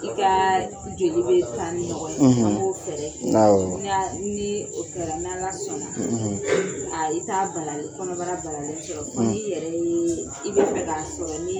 I kaaa joli bɛ tan ni ɲɔgɔn ye; ; An b'o fɛrɛ tigɛ; Awɔ; ni o kɛra n' ala sɔnna; ; A i t' a kɔnɔbara balalen sɔrɔ; fo ni yɛrɛ yeee, i bɛ min fɛ k'a sɔrɔ ni